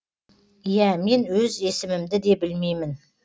иә мен өз есімімді де білмеймін